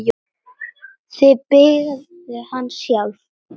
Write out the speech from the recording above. Þið byggðuð hann sjálf.